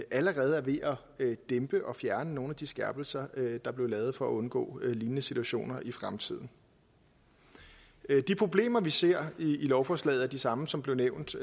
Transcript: allerede er ved at dæmpe og fjerne nogle af de skærpelser der blev lavet for at undgå lignende situationer i fremtiden de problemer vi ser i lovforslaget er de samme som blev nævnt